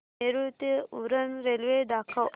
नेरूळ ते उरण रेल्वे दाखव